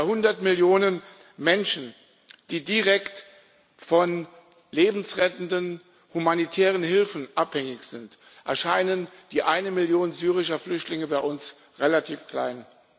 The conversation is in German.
Bei 100 Millionen Menschen, die direkt von lebensrettenden humanitären Hilfen abhängig sind, erscheint die eine Million syrische Flüchtlinge bei uns relativ klein.